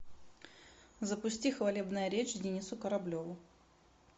запусти хвалебная речь денису кораблеву